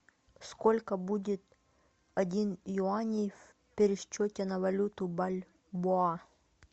сколько будет один юаней в пересчете на валюту бальбоа